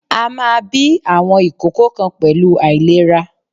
A máa bí àwọn ìkókó kan pẹ̀lú àìlera.